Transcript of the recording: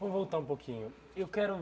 Vamos voltar um pouquinho. Eu quero